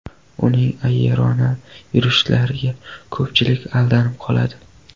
Uning ayyorona yurishlariga ko‘pchilik aldanib qoladi.